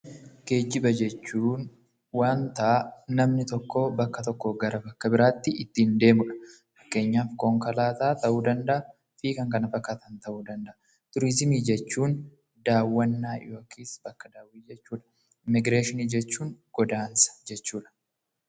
Geejjiba jechuun wanta namni bakka tokkoo gara bakka biraatti ittiin deemuu dha. Fakkeenyaaf, konkolaataa ta'uu danda'a fi kan kana fakkaatan ta'uu danda'a. Turizimii jechuun daawwannaa yookiin bakka daawwii jechuu dha. Immigireeshinii jechuun godaansa jechuu dha.